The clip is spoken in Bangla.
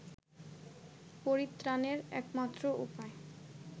পরিত্রাণের একমাত্র উপায়